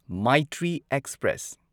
Maitri express